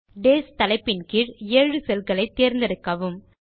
days தலைப்பின் கீழ் ஏழு செல்களை தேர்ந்தெடுக்கவும்